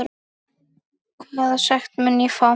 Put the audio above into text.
Hvaða sekt mun ég fá?